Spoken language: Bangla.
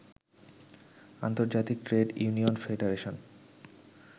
আন্তর্জাতিক ট্রেড ইউনিয়ন ফেডারেশন